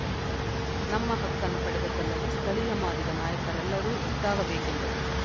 ನಮ್ಮ ಹಕ್ಕನ್ನು ಪಡೆದುಕೊಳ್ಳಲು ಸ್ಥಳೀಯ ಮಾದಿಗ ನಾಯಕರೆಲ್ಲರೂ ಒಟ್ಟಾಗಬೇಕೆಂದರು